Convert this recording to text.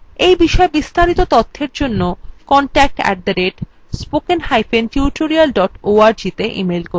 এই বিষয় বিস্তারিত তথ্যের জন্য contact @spokentutorial org তে ইমেল করুন